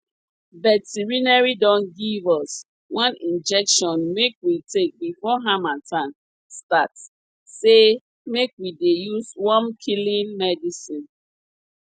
veterinary don give us one injection make we take before harmattan start say make we dey use wormkilling medicine